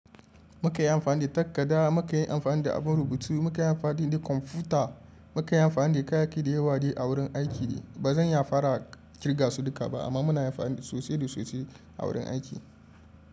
Muka yi amfani da takarda, muka yi amfani da abun rubutu, muka yi amfani da kwamfuta, muka yi amfani da kayayyaki da yawa a wurin aiki. Ba zan iya fara kirga su duka ba amma muna amfani da sosai da sosai a wurin aiki.